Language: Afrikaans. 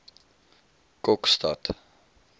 kokstad